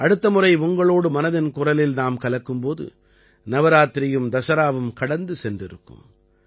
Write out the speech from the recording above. அடுத்த முறை உங்களோடு மனதின் குரலில் நாம் கலக்கும் போது நவராத்திரியும் தசராவும் கடந்து சென்றிருக்கும்